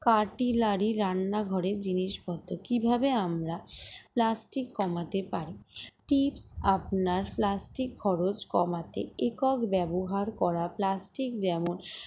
artilary র রান্না ঘরের জিনিসপত্র কিভাবে আমরা plastic কমাতে পারি tips আপনার plastic খরচ কমাতে একক ব্যবহার করা plastic যেমন